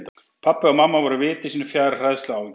Pabbi og mamma voru viti sínu fjær af hræðslu og áhyggjum.